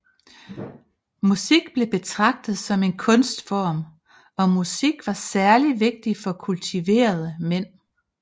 Musik blev betragtet som en kunstform og musik var særligt vigtigt for kultuverede mænd